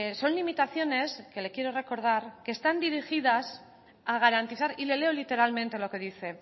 son limitaciones que le quiero recordar que están dirigidas a garantizar y le leo literalmente lo que dice